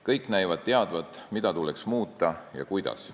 Kõik näivad teadvat, mida tuleks muuta ja kuidas.